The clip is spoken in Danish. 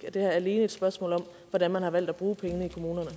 er det her alene et spørgsmål om hvordan man har valgt at bruge pengene